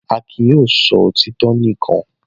Akin yóò sọ òtítọ́ nìkan.